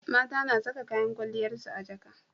mata na Saka kayan kwaliyar su a jaka